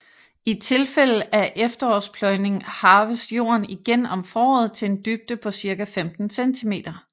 I tilfælde af efterårspløjning harves jorden igen om foråret til en dybde på cirka 15 centimeter